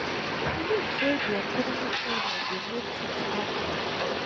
e dey believe say di economic pressures dey make tings hard for us.